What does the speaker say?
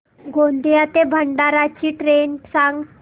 गोंदिया ते भंडारा ची ट्रेन सांग